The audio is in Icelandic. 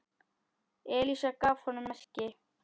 Elísa gaf honum merki.